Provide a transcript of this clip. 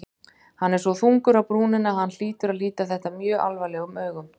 Hann er svo þungur á brúnina að hann hlýtur að líta þetta mjög alvarlegum augum.